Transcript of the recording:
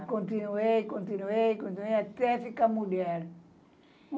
É, continuei, continuei, continuei, até ficar mulher.